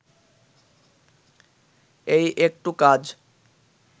এই একটু কাজ